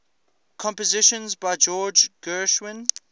compositions by george gershwin